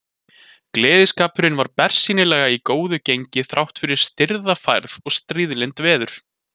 Gleðskapurinn var bersýnilega í góðu gengi þráttfyrir stirða færð og stríðlynd veður.